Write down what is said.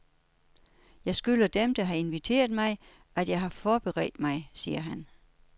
Jeg skylder dem, der har inviteret mig, at jeg har forberedt mig, siger han.